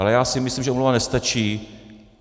Ale já si myslím, že omluva nestačí.